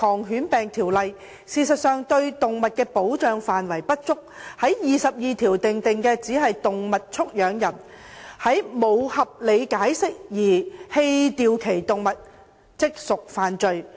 事實上，現時對動物的保障不足，《條例》第22條訂明，"動物畜養人如無合理解釋而棄掉其動物，即屬犯罪"。